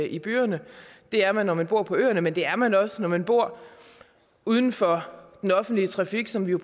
i byerne det er man når man bor på øerne men det er man også når man bor uden for af den offentlige trafik som vi jo